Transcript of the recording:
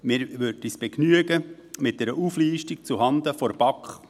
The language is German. Wir würden uns mit einer Auflistung zuhanden der BaK begnügen.